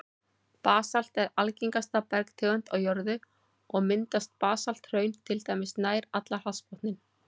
Basalt er algengasta bergtegund á jörðu, og mynda basalthraun til dæmis nær allan hafsbotninn.